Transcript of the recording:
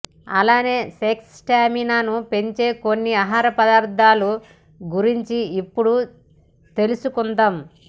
అలానే సెక్స్ స్టామినాను పెంచే కొన్ని ఆహార పదార్థాల గురించి ఇప్పుడు తెలుసుకుందాం